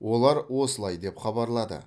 олар осылай деп хабарлады